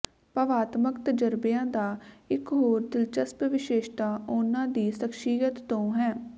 ਭਾਵਾਤਮਕ ਤਜ਼ਰਬਿਆਂ ਦਾ ਇਕ ਹੋਰ ਦਿਲਚਸਪ ਵਿਸ਼ੇਸ਼ਤਾ ਉਹਨਾਂ ਦੀ ਸ਼ਖ਼ਸੀਅਤ ਤੋਂ ਹੈ